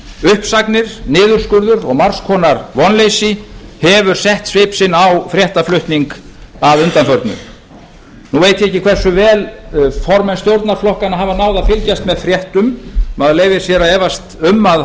uppsagnir niðurskurður og margs konar vonleysi hefur sett svip sinn á fréttaflutning að undanförnu nú veit ég ekki hversu vel formenn stjórnarflokkanna hafa náð að fylgjast með fréttum maður leyfir sér að efast um að